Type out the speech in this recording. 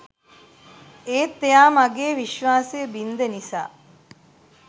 ඒත් එයා මගේ විශ්වාසය බින්ද නිසා